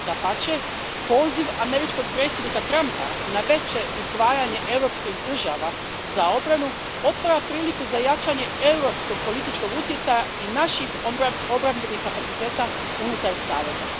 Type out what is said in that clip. Dapače, poziv američkog predsjednika Trumpa na veće izdvajanje europskih država za obranu otvara priliku za jačanje europskog političkog utjecaja i naših obrambenih kapaciteta unutar saveza.